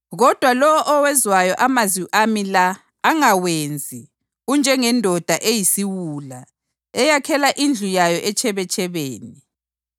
Kodwa lowo owezwayo amazwi ami la angawenzi unjengendoda eyisiwula eyakhela indlu yayo etshebetshebeni.